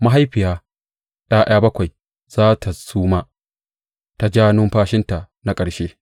Mahaifiya ’ya’ya bakwai za tă suma ta ja numfashinta na ƙarshe.